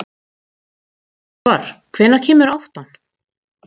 Salvar, hvenær kemur áttan?